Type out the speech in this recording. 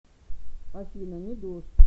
афина не дождь